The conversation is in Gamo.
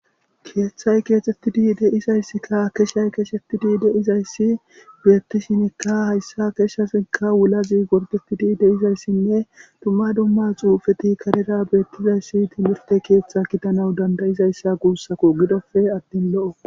Keeththay keexetti di de izayssikka akeshay keesheti di de izayssi beettishinikka hayssa keshshafeka wulazi gorditi di deizayssinne dumma dumma xuufeti karera beettizayssi timirte keeththa kitanau dandayizayssa guussako gidofe attin lo'o.